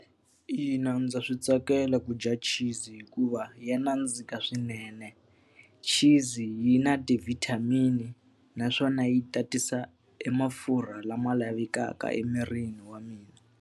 Ina, ndza swi tsakela ku dya cheese hikuva ya nandzika swinene. Cheese-zi yi na ti-vitamin-i naswona yi tatisa e mafurha lama lavekaka emirini wa mina.